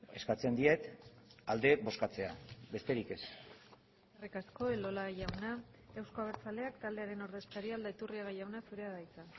eskatzen diet alde bozkatzea besterik ez eskerrik asko elola jauna euzko abertzaleak taldearen ordezkaria aldaiturriaga jauna zurea da hitza